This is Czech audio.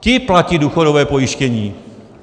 Ti platí důchodové pojištění.